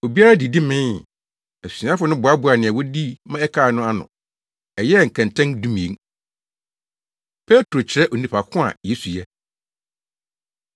Obiara didi mee. Asuafo no boaboaa nea wodi ma ɛkae no ano no, ɛyɛɛ nkɛntɛn dumien. Petro Kyerɛ Onipa Ko A Yesu Yɛ